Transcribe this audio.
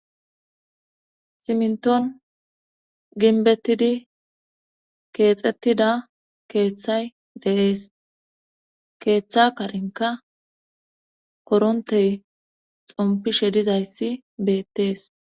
simnton ginbettidi keexettida keeththay deees keeththa karinka korontey xompishe dizayssi beettees